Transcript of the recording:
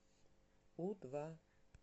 у два